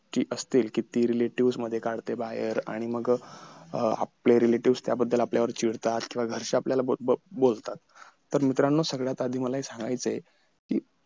कि असते कि ती relative मध्ये काढते बाहेर आणि मग अं आपलं relative त्याबद्दल आपल्यावर चिडतात तर घराचे आपल्याला बोलबोलतात तर मित्रानो सगळ्यात आधी मला हे सांगायचं आहे कि